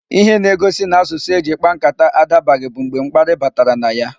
Ihe na-egosi n'asụsụ eji kpaa nkata adabaghị bụ mgbe mkparị batara na ya.